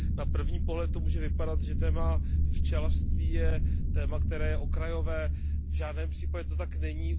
Na první pohled to může vypadat, že téma včelařství je téma, které je okrajové. V žádném případě to tak není.